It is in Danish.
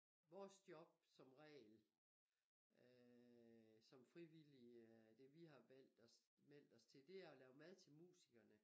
Vores job som regel øh som frivillige øh det vi har valgt os meldt os til det er og lave mad til musikerne